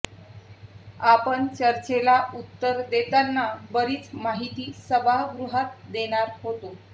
आपण चर्चेला उत्तर देताना बरीच माहिती सभागृहात देणार होतो